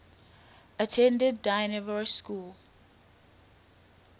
attended dynevor school